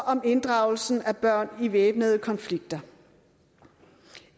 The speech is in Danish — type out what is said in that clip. om inddragelse af børn i væbnede konflikter